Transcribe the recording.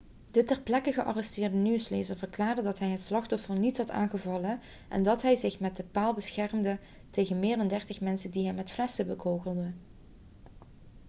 de ter plekke gearresteerde nieuwslezer verklaarde dat hij het slachtoffer niet had aangevallen en dat hij zich met de paal beschermde tegen meer dan dertig mensen die hem met flessen bekogelden